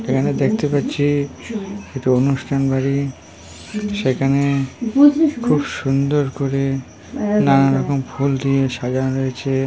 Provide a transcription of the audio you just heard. এখানে দেখতে পাচ্ছি এটা অনুষ্ঠান বাড়ি সেখানে খুব সুন্দর করে নানা রকম ফুল দিয়ে সাজানো রয়েছে।